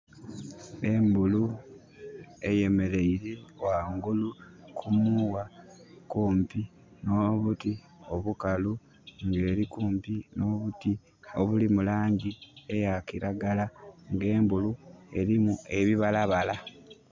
Embulu eyemeleire ghangulu ku muwa kumpi nho buti obukalu nga eri kumpi nh'obuti obuli mu langi eya kiragala nga embulu erimu ebibalabala.